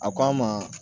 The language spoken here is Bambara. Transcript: A k'an ma